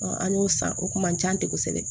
an y'o san o kun man ca ten kosɛbɛ